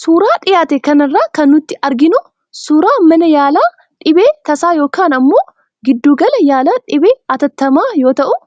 Suuraa dhiyaate kanarraa kan nuti arginu suuraa mana yaalaa dhibee tasaa yookaan ammoo gidduu gala yaalaa dhibee atattamaa yoo ta'u,